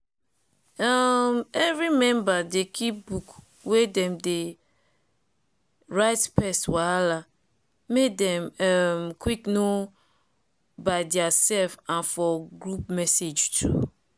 um every meber dey keep book wey dem dey write pest wahala make dem um quick know by diaself and for group message too.